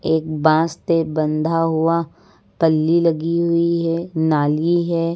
एक बांस ते बंधा हुआ पल्ली लगी हुई है नाली है।